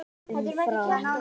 Um Fram: